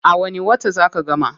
A wani wata zaa ka gama?